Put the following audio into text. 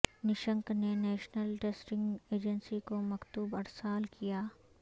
نشنک نے national testing agency کو مکتوب ارسال کیا